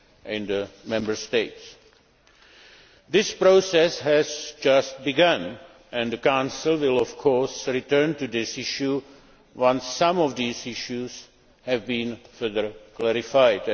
in the Member States. This process has just begun, and the Council will return to this issue once some of these issues have been further clarified.